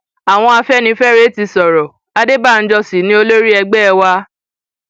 àwọn afẹnifẹre ti sọrọ adébànjọ sí ni olórí ẹgbẹ wa